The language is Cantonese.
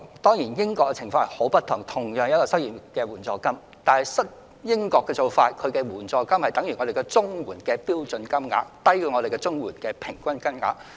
當然，英國的情況十分不同，儘管同是失業援助金，但英國的失業援助金相等於香港的綜援標準金額，低於本港的平均金額。